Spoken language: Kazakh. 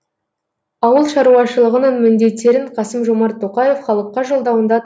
ауыл шаруашылығының міндеттерін қасым жомарт тоқаев халыққа жолдауында